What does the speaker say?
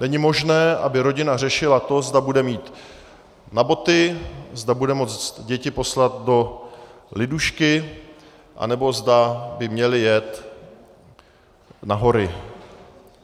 Není možné, aby rodina řešila to, zda bude mít na boty, zda bude moct děti poslat do lidušky, anebo zda by měly jet na hory.